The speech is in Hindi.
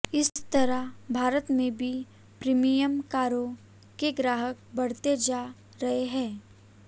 इस तरह भारत में भी प्रीमियम कारों के ग्राहक बढ़ते जा रहे हैं